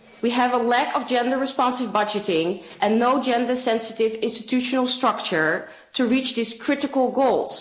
We have a lack of gender responsive budgeting, and no gender sensitive institutional structure to reach these critical goals.